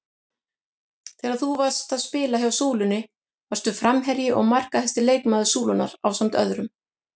Þegar þú varst að spila hjá Súlunni varstu framherji og markahæsti leikmaður Súlunnar ásamt öðrum?